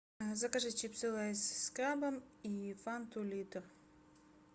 закажи чипсы лейс с крабом и фанту литр